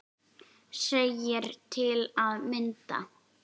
segir til að mynda